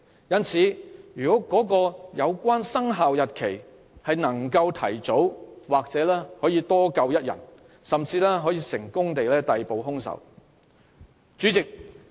如有關"生效日期"能夠提早，或許能多救一條人命，甚至可以成功逮捕兇手。